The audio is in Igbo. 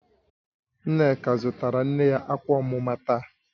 Nneka zụtara nne ya akwa omuma taa